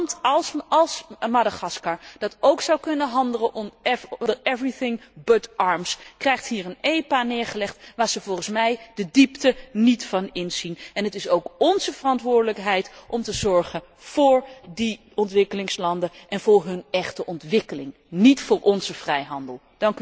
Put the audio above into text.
Een land als Madagaskar, dat ook zou kunnen handelen onder alles behalve wapens, krijgt hier een EPO neergelegd waarvan ze volgens mij de diepte niet inzien. Het is ook onze verantwoordelijkheid om te zorgen voor die ontwikkelingslanden en voor hun echte ontwikkeling, niet voor onze vrijhandel.